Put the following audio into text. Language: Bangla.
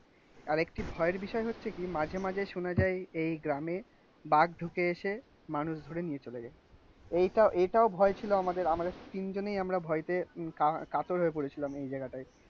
আর একটি ভয়ের বিষয় হচ্ছে কি মাঝে মাঝে শোনা যায় এই গ্রামে বাঘ ঢুকে এসে মানুষ ধরে নিয়ে চলে যায়. এইটা এইটাও ভয় ছিল আমাদের. আমাদের তিনজনেই আমরা ভয়েতে কাতর হয়ে পড়েছিলাম এই জায়গাটায়. বাঘ ঢুকে এসে মানুষ ধরে নিয়ে চলে যায়. এইটা এইটাও ভয় ছিল আমাদের. আমাদের তিনজনেই আমরা ভয়েতে কাতর হয়ে পড়েছিলাম